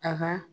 A ka